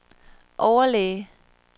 overlæge